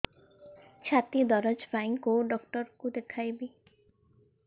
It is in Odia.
ଛାତି ଦରଜ ପାଇଁ କୋଉ ଡକ୍ଟର କୁ ଦେଖେଇବି